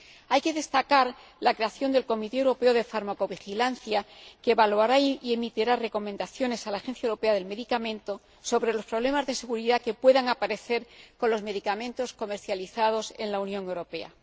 Hay que destacar la creación del Comité Europeo de Farmacovigilancia, que evaluará y emitirá recomendaciones a la Agencia Europea de Medicamentos sobre los problemas de seguridad que puedan aparecer con los medicamentos comercializados en la Unión Europea.